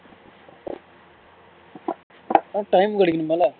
time கெடைக்கன்னுமுள்ள